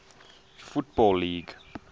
football league